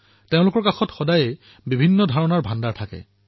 তেওঁলোকৰ সৈতে সদায়েই চিন্তাধাৰাৰ ভাণ্ডাৰ থাকে